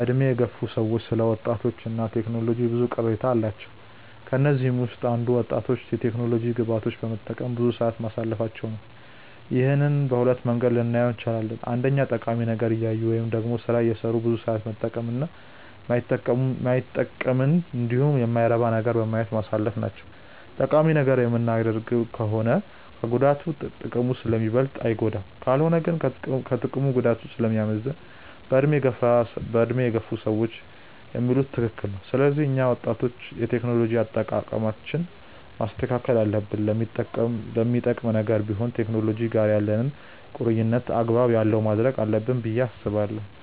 በዕድሜ የገፉ ሰዎች ስለ ወጣቶች እና ቴክኖሎጂ ብዙ ቅሬታዎች አሏቸው። ከነዚህም ውስጥ አንዱ ወጣቶች የቴክኖሎጂ ግብአቶችን በመጠቀም ብዙ ሰዓት ማሳለፋቸው ነው። ይህንን በሁለት መንገድ ልናየው እንችላለን። አንደኛ ጠቃሚ ነገር እያዩ ወይም ደግሞ ስራ እየሰሩ ብዙ ሰዓት መጠቀም እና ማይጠቅመንንን እንዲሁም የማይረባ ነገርን በማየት ማሳለፍ ናቸው። ጠቃሚ ነገር የምናደርግ ከሆነ ከጉዳቱ ጥቅሙ ስለሚበልጥ አይጎዳንም። ካልሆነ ግን ከጥቅሙ ጉዳቱ ስለሚያመዝን በዕድሜ የገፉ ሰዎች የሚሉት ትክክል ነው። ስለዚህ እኛ ወጣቶች የቴክኖሎጂ አጠቃቀማችንን ማስተካከል አለብን። ለሚጠቅምም ነገር ቢሆን ከቴክኖሎጂ ጋር ያለንን ቁርኝነት አግባብ ያለው ማድረግ አለብን ብዬ አስባለሁ።